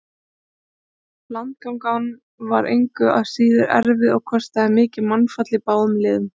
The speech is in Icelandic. Landgangan var engu að síður erfið og kostaði mikið mannfall í báðum liðum.